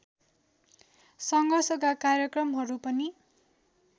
सङ्घर्षका कार्यक्रमहरू पनि